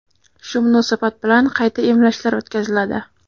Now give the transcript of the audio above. Shu munosabat bilan qayta emlashlar o‘tkaziladi.